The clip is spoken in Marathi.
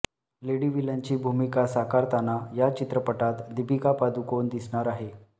लेडी व्हिलनची भूमिका साकारताना या चित्रपटात दीपिका पादुकोण दिसणार आहे